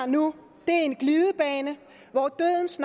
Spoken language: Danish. nu er en glidebane hvor dødens